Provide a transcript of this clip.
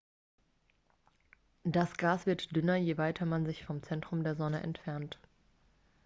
das gas wird dünner je weiter man sich vom zentrum der sonne entfernt